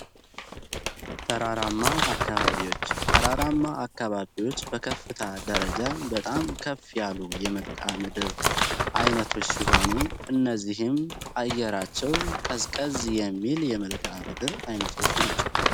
ተራራማ አካባቢዎች ተራራማ አካባቢዎች በከፍታ ደረጃ በጣም ከፍ ያሉ የመልከዓ ምድር አይነቶች ሲሆኑ እነዚህም አየራቸው ቀስቀዝ የሚል የመልከዓ ምድር አይነቶች ናቸው።